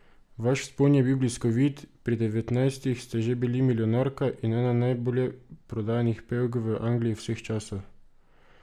Vaš vzpon je bil bliskovit, pri devetnajstih ste že bili milijonarka in ena najbolje prodajanih pevk v Angliji vseh časov!